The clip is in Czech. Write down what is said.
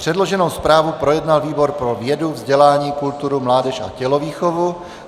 Předloženou zprávu projednal výbor pro vědu, vzdělání, kulturu, mládež a tělovýchovu.